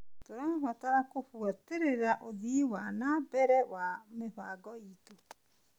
Tũrabatara gũbuatĩrĩra ũthii wa na mbere wa mĩbango iitũ.